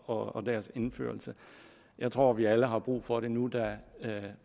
og deres indførelse jeg tror at vi alle har brug for det nu da